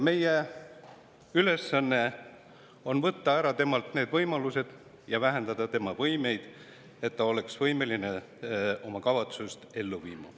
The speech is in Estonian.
Meie ülesanne on võtta temalt ära need võimalused ja vähendada tema võimeid, et ta ei oleks võimeline oma kavatsust ellu viima.